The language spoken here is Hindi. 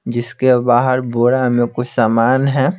जिसके बाहर बोरा में कुछ सामान है।